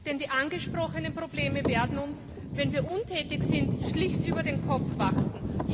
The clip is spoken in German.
Denn die angesprochenen Probleme werden uns, wenn wir untätig sind, schlicht über den Kopf wachsen.